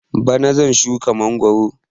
Bana zan shuka mangwaro